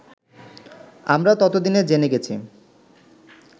আমরা তত দিনে জেনে গেছি